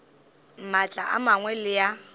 maatla a mangwe le a